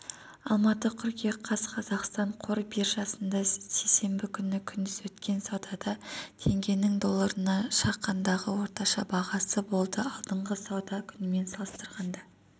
алматы қыркүйек қаз қазақстан қор биржасында сейсенбі күні күндіз өткен саудада теңгенің долларына шаққандағы орташа бағамы болды алдыңғы сауда күнімен салыстырғанда